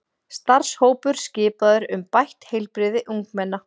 Starfshópur skipaður um bætt heilbrigði ungmenna